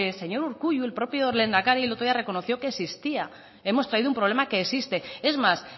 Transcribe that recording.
señor urkullu el propio lehendakari el otro día reconoció que existía hemos traído un problema que existe es más